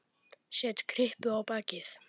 Set kryppu á bakið.